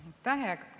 Aitäh!